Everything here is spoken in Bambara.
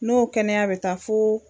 N'o kɛnɛya bɛ taa fo